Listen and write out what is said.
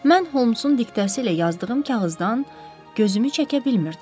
Mən Homsun diktəsi ilə yazdığım kağızdan gözümü çəkə bilmirdim.